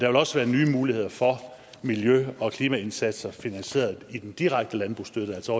vil også være nye muligheder for miljø og klimaindsatser finansieret af den direkte landbrugsstøtte altså